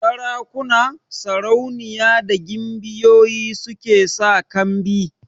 Sarakuna, sarauniya da gimbiyoyi su ke sa kambi